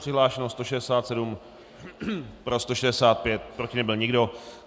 Přihlášeno 167, pro 165, proti nebyl nikdo.